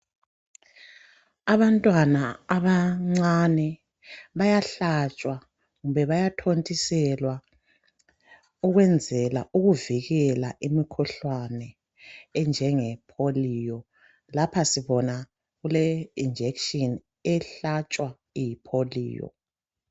Abantwana abancani bayahlatshwa kumbe bayathontiselwa ukwenzela ukuvikela imkhuhlane enjenge polio. Lapha sibona kule injection ehlatshwa iyipolio.